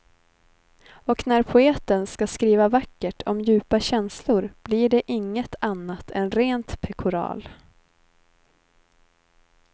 Och när poeten ska skriva vackert om djupa känslor blir det inget annat än rent pekoral.